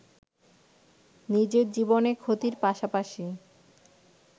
নিজের জীবনে ক্ষতির পাশাপাশি